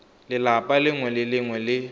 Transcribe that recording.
lelapa lengwe le lengwe le